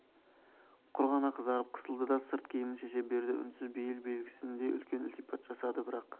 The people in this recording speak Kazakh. құр ғана қызарып қысылды да сырт киімін шеше берді үнсіз бейіл белгісіндей үлкен ілтипат жасады бірақ